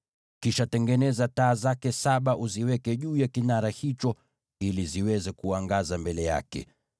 “Kisha tengeneza taa zake saba na uziweke juu ya kinara hicho ili ziangaze mbele yake.